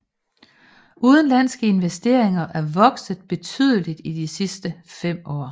Udenlandsinvesteringerne er vokset betydeligt i de sidste 5 år